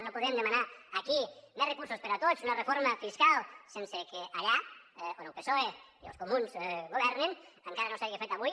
no podem demanar aquí més recursos per a tots una reforma fiscal sense que allà on el psoe i els comuns governen encara no s’hagi fet avui